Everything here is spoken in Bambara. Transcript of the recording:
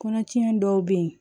Kɔnɔtiɲɛ dɔw bɛ yen